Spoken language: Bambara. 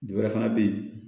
Wɛrɛ fana bɛ yen